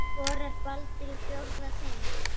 Skorar Baldur í fjórða sinn?